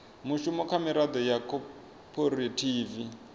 mushumo kha miraḓo ya khophorethivi